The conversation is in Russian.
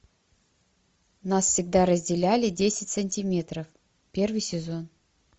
нас всегда разделяли десять сантиметров первый сезон